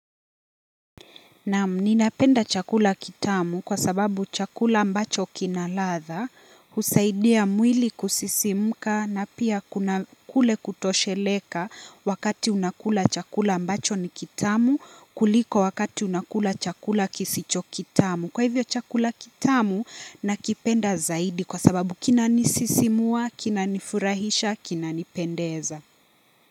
Naam ninapenda chakula kitamu kwa sababu chakula ambacho kina ladha husaidia mwili kusisimuka na pia kuna kule kutosheleka wakati unakula chakula ambacho ni kitamu kuliko wakati unakula chakula kisicho kitamu. Kwa hivyo chakula kitamu nakipenda zaidi kwa sababu kinanisisimua, kinanifurahisha, kinanipendeza.